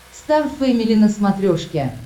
стар фэмили на смотрешке